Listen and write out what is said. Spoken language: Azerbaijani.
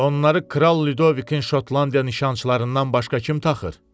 Onları Kral Lyudovikin Şotlandiya nişançılarından başqa kim taxır?